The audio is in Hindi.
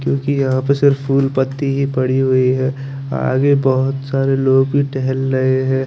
क्युकी यहाँ पर सिर्फ फूल पत्ति ही पड़ी हुई है आगे बोहोत सारे लोग भी टहल रहे है।